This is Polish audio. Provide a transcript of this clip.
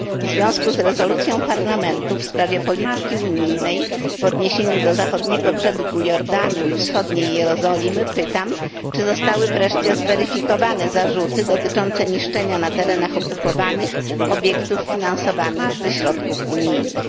W związku z rezolucją Parlamentu w sprawie polityki unijnej w odniesieniu do Zachodniego Brzegu Jordanu i Wschodniej Jerozolimy pytam, czy zostały wreszcie zweryfikowane zarzuty dotyczące niszczenia na terenach okupowanych obiektów finansowanych ze środków unijnych?